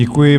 Děkuji.